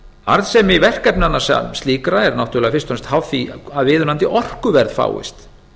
arðsemi verkefnanna sem slíkra er náttúrulega fyrst og fremst háð því að viðunandi orkuverð fáist